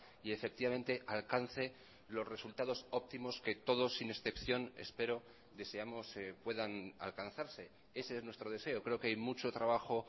y efectivamente alcance los resultados óptimos que todos sin excepción espero deseamos puedan alcanzarse ese es nuestro deseo creo que hay mucho trabajo